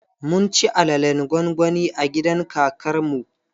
Mun ci alalen gwangwani a gidan kakar mu.